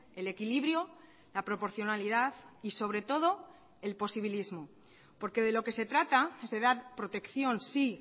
el equilibrio la proporcionalidad y sobre todo el posibilismo porque de lo que se trata es de dar protección sí